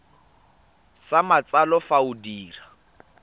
sa matsalo fa o dira